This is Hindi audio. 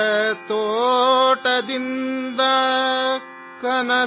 सितारों के बाग से